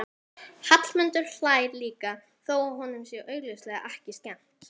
Hallmundur hlær líka þó að honum sé augljóslega ekki skemmt.